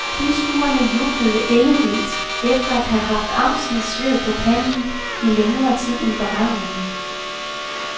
Tilskuerne jublede ellevildt efter at have haft angstens sved på panden i længere tid end beregnet.